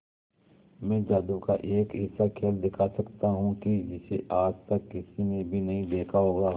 मैं जादू का एक ऐसा खेल दिखा सकता हूं कि जिसे आज तक किसी ने भी नहीं देखा होगा